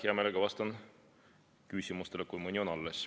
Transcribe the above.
Hea meelega, vastan küsimustele, kui mõni veel on.